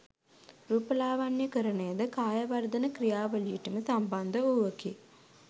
රූපලාවන්‍යකරණය ද කාය වර්ධන ක්‍රියවලියටම සම්බන්ධ වූවකි.